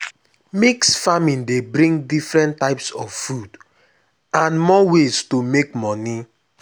mix farming dey bring different types of food and more ways to make money